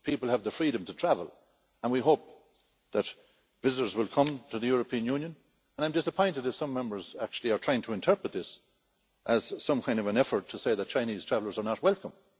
People have the freedom to travel, and we hope that visitors will come to the European Union and I am disappointed as some Members actually are trying to interpret this as some kind of an effort to say that Chinese travellers are not welcome.